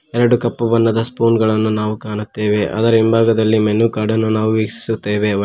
ಎರಡು ಕಪ್ಪು ಬಣ್ಣದ ಸ್ಪೂನ್ ಗಳನ್ನು ನಾವು ಕಾಣುತ್ತೆವೆ ಅದರ ಹಿಂಭಾಗದಲ್ಲಿ ಮೇನು ಕಾರ್ಡ್ ನಾವು ವೀಕ್ಷಿಸುತ್ತೇವೆ ಒಟ್ --